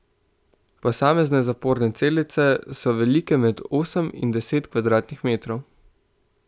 Posamezne zaporne celice so velike med osem in deset kvadratnih metrov.